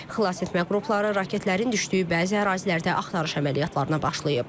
Xilasetmə qrupları raketlərin düşdüyü bəzi ərazilərdə axtarış əməliyyatlarına başlayıb.